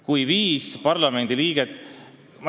Kui viis parlamendiliiget ...